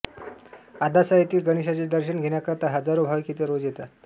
आदासा येथील गणेशाचे दर्शन घेण्याकरिता हजारो भाविक येथे रोज येतात